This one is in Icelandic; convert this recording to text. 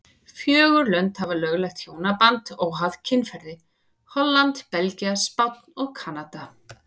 Fjögur lönd hafa lögleitt hjónaband óháð kynferði, Holland, Belgía, Spánn og Kanada.